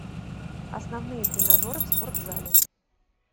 основные тренажеры в спортзале